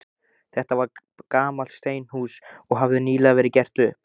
Þetta var gamalt steinhús, og hafði nýlega verið gert upp.